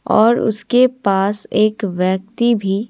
और उसके पास एक व्यक्ति भी--